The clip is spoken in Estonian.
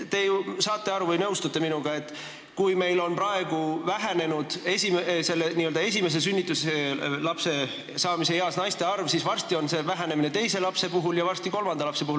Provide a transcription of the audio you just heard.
Te ju nõustute minuga, et kui meil on vähenenud esimese lapse saamise eas olevate naiste arv, siis varsti väheneb nende naiste arv, kes võiksid saada teise ja kolmanda lapse.